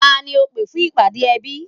Tani ó pé fún ìpàdé ẹbí